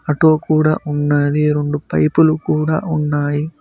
Auto కూడా ఉన్నాది రెండు పైపులు లు కూడా ఉన్నాయి.